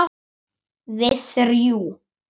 Við þrjú.